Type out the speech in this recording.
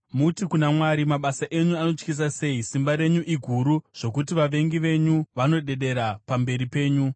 Muti kuna Mwari, “Mabasa enyu anotyisa sei! Simba renyu iguru zvokuti vavengi venyu vanodedera pamberi penyu.